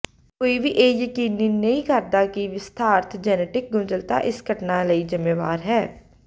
ਕੋਈ ਵੀ ਇਹ ਯਕੀਨੀ ਨਹੀਂ ਕਰਦਾ ਕਿ ਵਿਸਥਾਰਤ ਜੈਨੇਟਿਕ ਗੁੰਝਲਤਾ ਇਸ ਘਟਨਾ ਲਈ ਜ਼ਿੰਮੇਵਾਰ ਹੈ